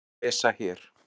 og má lesa hér.